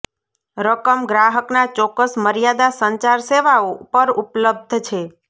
રકમ ગ્રાહકના ચોક્કસ મર્યાદા સંચાર સેવાઓ પર ઉપલબ્ધ છે